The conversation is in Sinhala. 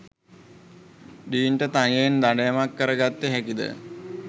ඩීන්ට තනියෙන් දඩයමක් කර ගත්ත හැකිද?